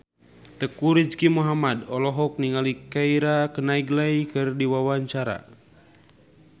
Teuku Rizky Muhammad olohok ningali Keira Knightley keur diwawancara